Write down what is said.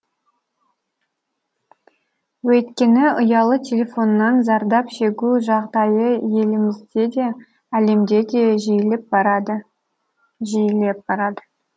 өйткені ұялы телефоннан зардап шегу жағдайы елімізде де әлемде де жиілеп барады жиілеп барады